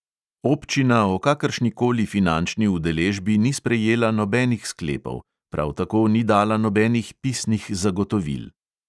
Občina o kakršnikoli finančni udeležbi ni sprejela nobenih sklepov, prav tako ni dala nobenih pisnih zagotovil.